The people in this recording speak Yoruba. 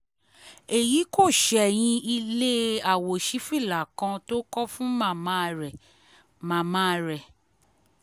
èyí kò ṣẹ̀yìn ilé àwòṣífìlà kan tó kọ́ fún màmá rẹ̀ màmá rẹ̀